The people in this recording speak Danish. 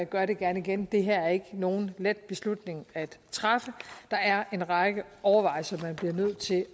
gør det gerne igen det her er ikke nogen let beslutning at træffe der er en række overvejelser man bliver nødt til